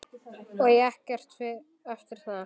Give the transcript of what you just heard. Og ekkert eftir það.